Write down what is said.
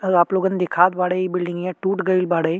और आप लोगन दिखात बाड़े। इ बिल्डिंगया टूट गईल बाड़े।